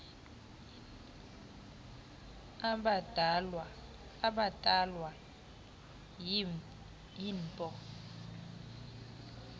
abhatalwa yii npo